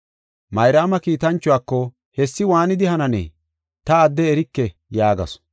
Mayraama kiitanchuwako, “Hessi waanidi hananee? Ta adde erike” yaagasu.